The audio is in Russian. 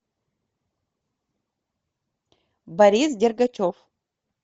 борис дергачев